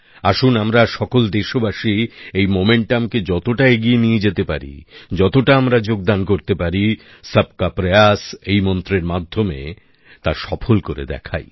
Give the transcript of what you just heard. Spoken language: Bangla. আসুন আমরা সকল দেশবাসী এই উদ্দীপনাকে যতটা এগিয়ে নিয়ে যেতে পারি যতটা আমরা যোগদান করতে পারি সবকা প্রয়াস এই মন্ত্রের মাধ্যমে সফল করে দেখাই